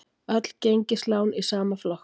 Öll gengislán í sama flokk